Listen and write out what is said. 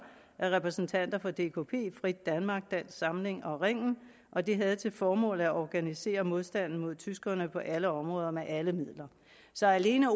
af repræsentanter fra dkp frit danmark dansk samling og ringen og det havde til formål at organisere modstanden mod tyskerne på alle områder og med alle midler så alene